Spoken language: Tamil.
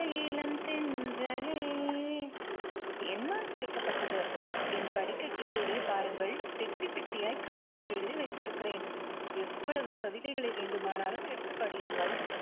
இளம் தென்றலே என்னால் படைக்கப்பட்டது. என் படுக்கைக்கு கீழே பாருங்கள். பெட்டி பெட்டியாய் கவிதைகள் எழுதி வைத்திருக்கிறேன். எவ்வளவு கவிதைகளை வேண்டுமானாலும் எடுத்து படியுங்கள்.